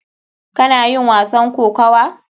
Kana yin wasan kokuwa?